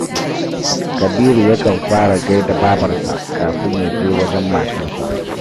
Kabiru yakan fara gai da babarsa kafin ya je wajen matarsa